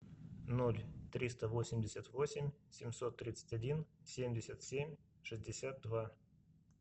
ноль триста восемьдесят восемь семьсот тридцать один семьдесят семь шестьдесят два